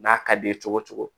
N'a ka d'i ye cogo o cogo